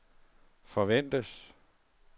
forventes